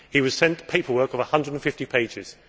He was sent paperwork of 150 pages.